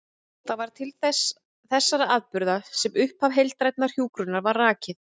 Það var til þessara atburða sem upphaf heildrænnar hjúkrunar var rakið.